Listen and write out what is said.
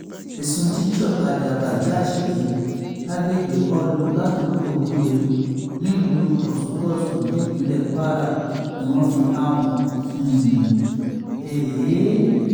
ẹ̀sùn jíjọ̀ ọ̀kadà bajaj gbé lágbègbè kaulu ládùúgbò gure nílùú kòṣùbọ́sù nípínlẹ̀ kwara ni wọ́n fi kàn wọ́n um